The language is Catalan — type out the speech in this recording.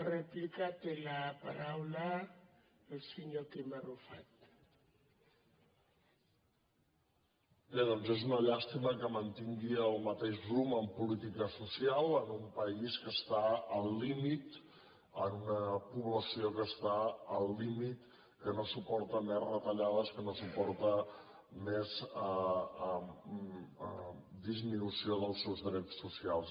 bé doncs és una llàstima que mantingui el mateix rumb en política social en un país que està al límit amb una població que està al límit que no suporta més retallades que no suporta més disminució dels seus drets socials